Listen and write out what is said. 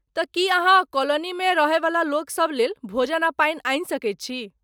तँ की अहाँ कॉलोनीमे रहयवला लोकसभ लेल भोजन आ पानि आनि सकैत छी?